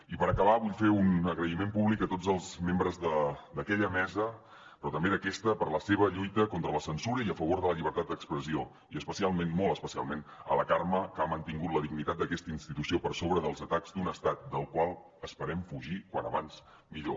i per acabar vull fer un agraïment públic a tots els membres d’aquella mesa però també als d’aquesta per la seva lluita contra la censura i a favor de la llibertat d’expressió i especialment molt especialment a la carme que ha mantingut la dignitat d’aquesta institució per sobre dels atacs d’un estat del qual esperem fugir com més aviat millor